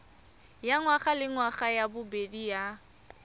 ya ngwagalengwaga ya bobedi ya